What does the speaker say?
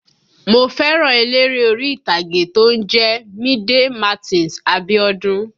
Mo fẹ́ràn eléré orí ìtàgé tó ń jẹ́ Mide Martins Abiodun